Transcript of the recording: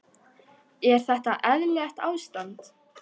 Er þetta eðlilegt ástand?